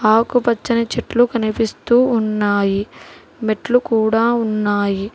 ఆకుపచ్చని చెట్లు కనిపిస్తూ ఉన్నాయి మెట్లు కూడా ఉన్నాయి.